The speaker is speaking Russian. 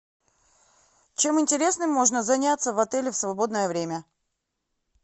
чем интересным можно заняться в отеле в свободное время